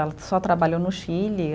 Ela só trabalhou no Chile.